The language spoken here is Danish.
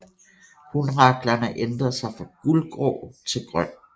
Hunraklerne ændrer sig fra gulgrå til grøn